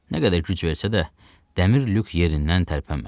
Nə qədər güc versə də, dəmir lük yerindən tərpənmədi.